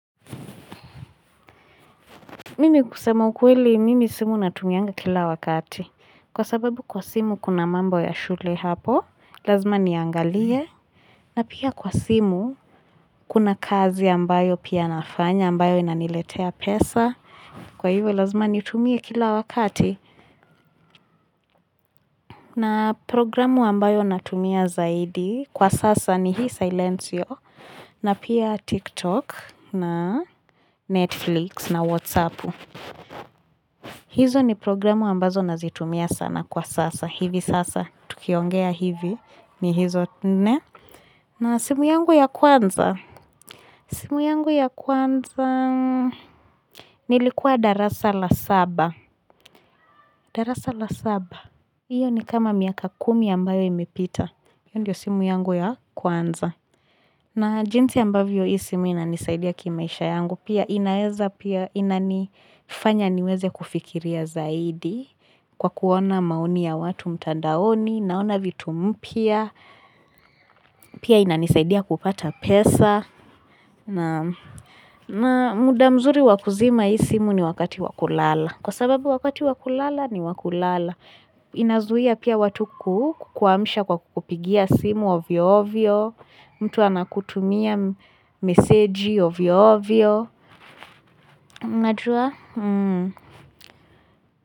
Mimi kusema ukweli mimi simu natumianga kila wakati kwa sababu kwa simu kuna mambo ya shule lazima niangalie. Pia kwa simu kuna kazi ambayo pia nafanya ambayo inaniletea pesa, kwa hivyo lazima nitumie kila wakati. Programu ambayo natumia zaidi kwa sasa ni hii Silencio, na pia TikTok, Netflix na WhatsApp. Hizo ni programu ambazo nazitumia sana kwa sasa hivi sasa tukiongea hivi, ni hizo. Simu yangu ya kwanza nilikuwa darasa la saba. Hiyo ni kama miaka 10 ambayo imepita. Hiyo ndiyo simu yangu ya kwanza. Na jinsi ambayo hii simu inanisadia kimaisha yangu, inanifanya niweze kufikiria zaidi kwa kuona maoni ya watu mtandaoni, naona vitu mpya, pia inanisaidia kupata pesa. Naam. Muda mzuri wa kuzima hii simu ni wakati wa kulala, kwa sababu wakati wa kulala ni wa kulala. Inazuia pia watu kukuamsha kwa kukupigia simu ovyo ovyo, mtu anakutumia meseji au ovyo ovyo.